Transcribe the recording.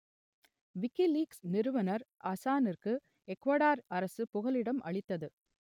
WikiLeaks நிறுவனர் அசானிற்கு Ecuador அரசு புகலிடம் அளித்தது